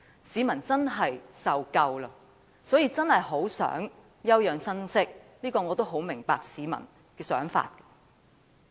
市民受夠了，真的很想休養生息，我亦很明白市民的想法。